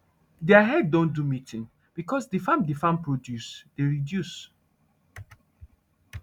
deir head don do meeting becos de farm de farm produce dey reduce